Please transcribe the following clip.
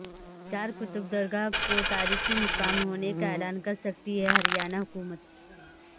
چار قطب درگاہ کو تاریخی مقام ہونے کا اعلان کر سکتی ہے ہریانہ حکومت